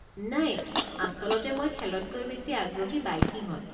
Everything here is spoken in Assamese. নাই, আচলতে মই খেলতকৈ বেছি আগ্রহী বাইকিঙত।